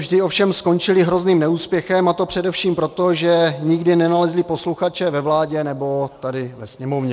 Vždy ovšem skončily hrozným neúspěchem, a to především proto, že nikdy nenalezli posluchače ve vládě nebo tady ve Sněmovně.